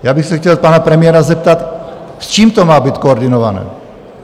Já bych se chtěl pana premiéra zeptat, s čím to má být koordinované.